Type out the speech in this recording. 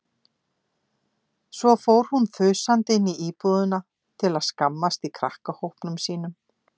Svo fór hún þusandi inn í íbúðina til að skammast í krakkahópnum sínum.